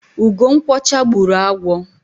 ugo nkwọcha gburu agwo